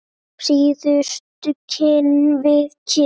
Síðustu kinn við kinn.